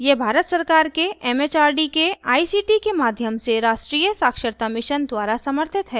यह भारत सरकार के it it आर डी के आई सी टी के माध्यम से राष्ट्रीय साक्षरता mission द्वारा समर्थित है